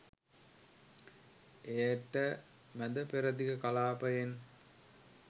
එයට මැද පෙරදිග කලාපයෙන්